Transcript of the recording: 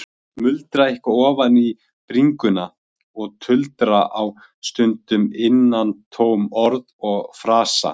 Muldra eitthvað ofan í bringuna og tuldra á stundum innantóm orð og frasa.